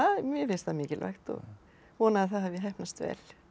mér finnst það mikilvægt og vona að það hafi heppnast vel